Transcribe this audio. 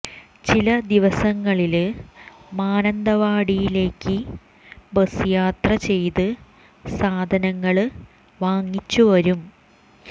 ചില ദിവസങ്ങളില് മാനന്തവാടിയിലേക്ക് ബസ് യാത്ര ചെയ്ത് സാധനങ്ങള് വാങ്ങിച്ചു വരും